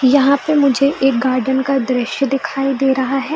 यहाँ पर मुझे एक गार्डन का दृश्य दिखाई दे रहा है ।